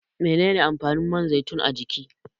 Menene amfanin man zaitun a jiki?